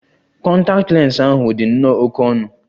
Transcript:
Kọntaktị lens ahu di nnọọ oké ọnụ.